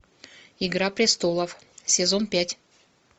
игра престолов сезон пять